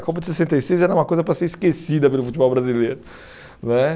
A Copa de sessenta e seis era uma coisa para ser esquecida pelo futebol brasileiro né.